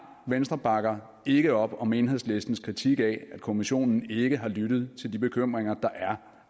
venstre bakker ikke op om enhedslistens kritik af at kommissionen ikke har lyttet til de bekymringer der er